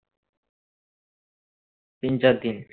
তিন চারদিন